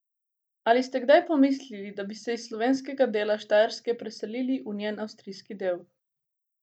Ali ste kdaj pomislili, da bi se iz slovenskega dela Štajerske preselili v njen avstrijski del?